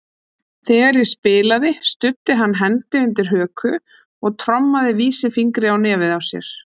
Þegar ég spilaði studdi hann hendi undir höku og trommaði vísifingri á nefið á sér.